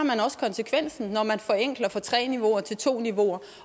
konsekvensen når man forenkler fra tre niveauer til to niveauer